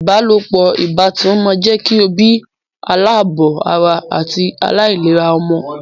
Ìbálopọ̀ ìbátan máa jẹ́ kí o bí aláàbọ̀ ara àti aláìlera ọmọ.